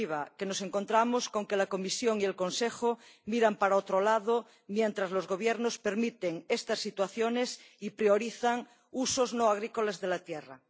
definitiva, que nos encontramos con que la Comisión y el Consejo miran para otro lado mientras los Gobiernos permiten estas situaciones y priorizan usos no agrícolas de la tierra.